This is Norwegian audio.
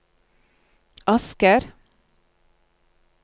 Asker